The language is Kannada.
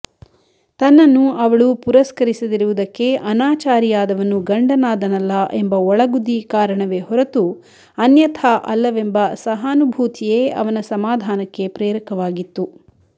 ತನ್ನನ್ನು ಅವಳು ಪುರಸ್ಕರಿಸದಿರುವುದಕ್ಕೆ ಅನಾಚಾರಿಯಾದವನು ಗಂಡನಾದನಲ್ಲಾ ಎಂಬ ಒಳಗುದಿ ಕಾರಣವೇ ಹೊರತು ಅನ್ಯಥಾ ಅಲ್ಲವೆಂಬ ಸಹಾನುಭೂತಿಯೇ ಅವನ ಸಮಾಧಾನಕ್ಕೆ ಪ್ರೇರಕವಾಗಿತ್ತು